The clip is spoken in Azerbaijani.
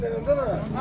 Ay su verin de.